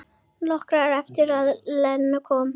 Nokkru eftir að Lena kom.